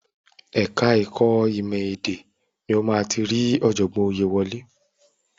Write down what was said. Ẹ̀ka ẹ̀kọ́ ìmọ̀ ẹ̀dá èdè ni o máa ti rí ọ̀jọ̀gbọ́n Oyèwálé.